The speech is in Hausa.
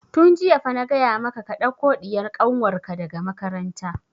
Tun jiya fa na gaya maka ka ɗauko ɗiyar kanwar ka daga makaranta!